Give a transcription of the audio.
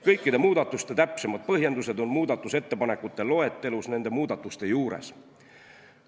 Kõikide muudatuste täpsemad põhjendused on kirjas muudatusettepanekute loetelus nende muudatuste juures.